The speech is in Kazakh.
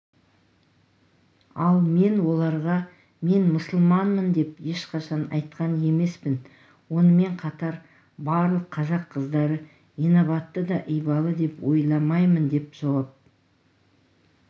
ал мен оларға мен мұсылманмын деп ешқашан айтқан емеспін онымен қатар барлық қазақ қыздары инабатты да ибалы деп ойламаймын деп жауап